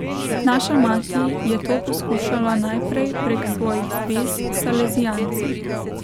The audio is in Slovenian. Naša mati je to poskušala najprej prek svojih zvez s salezijanci.